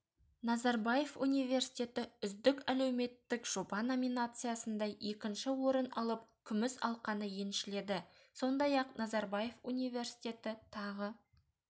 назарбаев университеті үздік әлеуметтік жоба номинациясында екінші орын алып күміс алқаны еншіледі сондай-ақ назарбаев университеті тағы